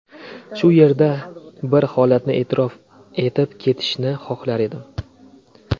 Shu yerda bir holatni e’tirof etib ketishni xohlar edim.